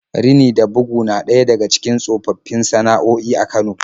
Rini da bugu na ɗaya daga cikin tsofaffin sana'o'i a Kano.